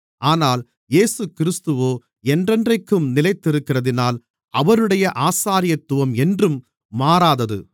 ஆனால் இயேசுகிறிஸ்துவோ என்றென்றைக்கும் நிலைத்திருக்கிறதினால் அவருடைய ஆசாரியத்துவம் என்றும் மாறாதது